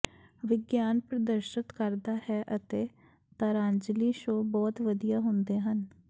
ਵਿਗਿਆਨ ਪ੍ਰਦਰਸ਼ਤ ਕਰਦਾ ਹੈ ਅਤੇ ਤਾਰਾਂਜਲੀ ਸ਼ੋਅ ਬਹੁਤ ਵਧੀਆ ਹੁੰਦੇ ਹਨ